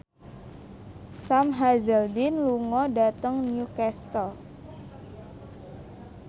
Sam Hazeldine lunga dhateng Newcastle